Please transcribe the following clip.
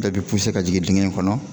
Bɛɛ bi ka jigin diŋɛ in kɔnɔ